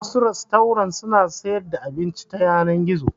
Wasu rastorant suna sayar da abinci ta yanar gizo.